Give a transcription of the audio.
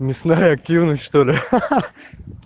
мясная активность что ли ха-ха